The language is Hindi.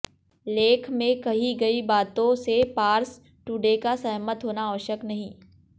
लेख में कही गयी बातों से पार्स टूडे का सहमत होना आवश्यक नहीं